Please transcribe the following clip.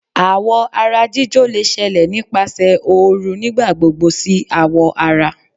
Àwọ̀ ara jíjó lè ṣẹlẹ̀ nipasẹ ooru nigbagbogbo si awọ ara.